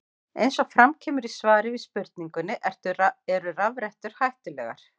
Eins og fram kemur í svari við spurningunni Eru rafrettur hættulegar?